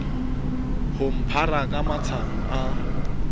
ho mphara ka mashano a